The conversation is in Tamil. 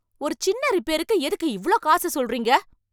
ஒரு சின்ன ரிப்பேருக்கு எதுக்கு இவ்ளோ காசு சொல்றீங்க?